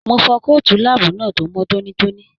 Mo fọ kootu láàbù náà tó mọ tónítóní.